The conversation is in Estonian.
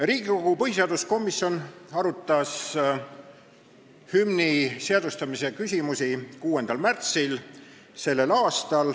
Riigikogu põhiseaduskomisjon arutas hümni seadustamise küsimusi 6. märtsil s.